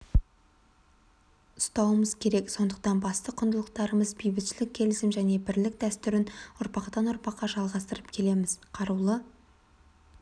ұстауымыз керек сондықтан басты құндылықтарымыз бейбітшілік келісім және бірлік дәстүрін ұрпақтан ұрпаққа жалғастырып келеміз қарулы